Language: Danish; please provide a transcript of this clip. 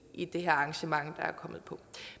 i det her arrangement